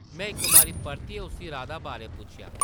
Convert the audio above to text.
में इक बारी परतियै उस्सी राधा बारै पुच्छेआ ।